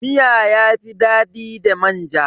Miya yafi dadi da manja.